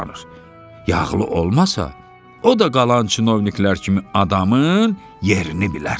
Yağlı olmasa, o da qalan çinovniklər kimi adamın yerini bilər.